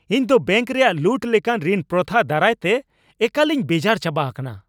ᱤᱧᱫᱚ ᱵᱮᱹᱝᱠ ᱨᱮᱭᱟᱜ ᱞᱩᱴ ᱞᱮᱠᱟᱱ ᱨᱤᱱ ᱯᱨᱚᱛᱷᱟ ᱫᱟᱨᱟᱭᱛᱮ ᱮᱠᱟᱞᱤᱧ ᱵᱮᱡᱟᱨ ᱪᱟᱵᱟ ᱟᱠᱟᱱᱟ ᱾